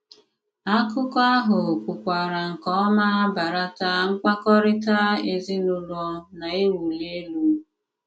Àkụ̀kọ àhụ kwùkwàrà nke òma bàràtà mkpàkọ́rịtà ezinùlò na-ewùlì élù.